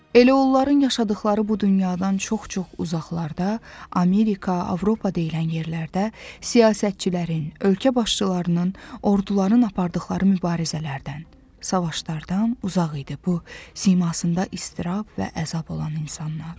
Elə onların yaşadıqları bu dünyadan çox-çox uzaqlarda Amerika, Avropa deyilən yerlərdə siyasətçilərin, ölkə başçılarının, orduların apardıqları mübarizələrdən, savaşlardan uzaq idi bu simasında istirab və əzab olan insanlar.